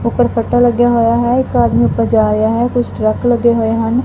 ਉੱਪਰ ਫੱਟਾ ਲੱਗਿਆ ਹੋਇਆ ਹੈ ਇੱਕ ਆਦਮੀ ਉੱਪਰ ਜਾ ਰਿਹਾ ਹੈ ਕੁਝ ਟਰੱਕ ਲੱਗੇ ਹੋਏ ਹਨ।